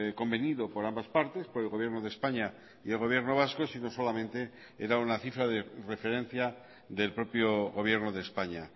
convenido por ambas partes por el gobierno de españa y el gobierno vasco si no solamente era una cifra de referencia del propio gobierno de españa